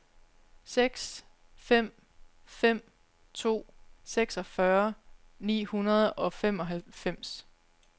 seks fem fem to seksogfyrre ni hundrede og femoghalvfems